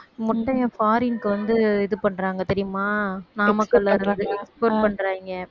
முட்டையை foreign க்கு வந்து இது பண்றாங்க தெரியுமா நாமக்கல்ல இருந்து export பண்றாங்க